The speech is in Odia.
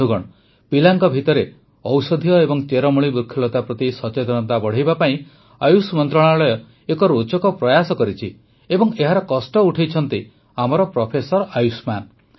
ବନ୍ଧୁଗଣ ପିଲାଙ୍କ ଭିତରେ ଔଷଧୀୟ ଏବଂ ଚେରମୂଳି ବୃକ୍ଷଲତା ପ୍ରତି ସଚେତନତା ବଢ଼ାଇବା ପାଇଁ ଆୟୁଷ ମନ୍ତ୍ରଣାଳୟ ଏକ ରୋଚକ ପ୍ରୟାସ କରିଛି ଏବଂ ଏହାର କଷ୍ଟ ଉଠାଇଛନ୍ତି ଆମର ପ୍ରଫେସର ଆୟୁଷ୍ମାନ